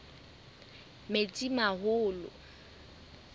metsimaholo